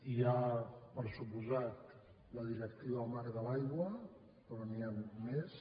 hi ha per descomptat la directiva marc de l’aigua però n’hi han més